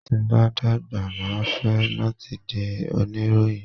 Tí n bá dàgbà máa fẹ́ láti di oníròyìn.